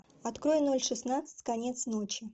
открой ноль шестнадцать конец ночи